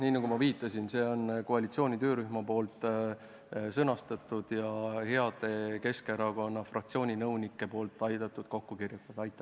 Nii nagu ma viitasin, on see koalitsiooni töörühma sõnastatud ja heade Keskerakonna fraktsiooni nõunike abil kokku kirjutatud.